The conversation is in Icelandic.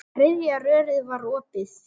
Þriðja rörið var opið.